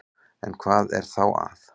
En hvað er þá að?